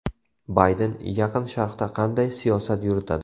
Bayden Yaqin Sharqda qanday siyosat yuritadi?